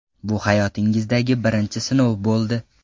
Bu hayotingizdagi birinchi sinov bo‘ldi.